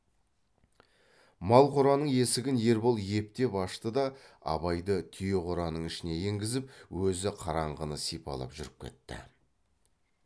мал қораның есігін ербол ептеп ашты да абайды түйе қораның ішіне енгізіп өзі қараңғыны сипалап жүріп кетті